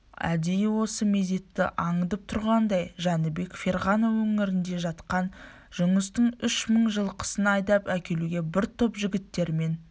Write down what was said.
әдейі осы мезетті аңдып тұрғандай жәнібек ферғана өңірінде жатқан жұныстың үш мың жылқысын айдап әкелуге бір топ жігіттерімен